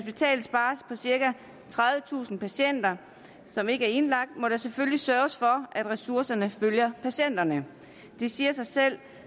cirka tredivetusind patienter som ikke er indlagt må der selvfølgelig sørges for at ressourcerne følger patienterne det siger sig selv